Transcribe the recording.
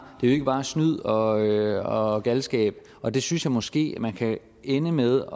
ikke bare snyd og galskab og det synes jeg måske man kan ende med